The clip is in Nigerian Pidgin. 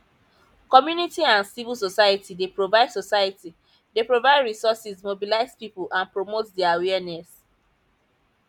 community and civil society dey provide society dey provide resources mobilize people and promote di awareness